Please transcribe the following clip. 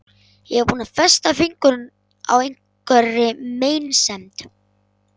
Ég var þá búin að festa fingur á einhverri meinsemd.